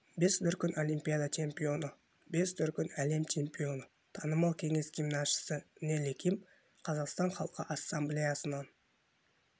бес дүркін олимпиада чемпионы бес дүркін әлем чампионы танымал кеңес гимнастшысы нелли ким қазақстан халқы ассамблеясынан